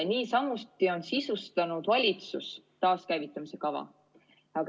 Niisamuti on sisustanud valitsus taaskäivitamise kava.